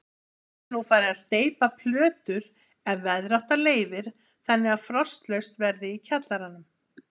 Verður nú farið að steypa plötur ef veðrátta leyfir þannig að frostlaust verði í kjallaranum.